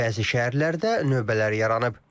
Bəzi şəhərlərdə növbələr yaranıb.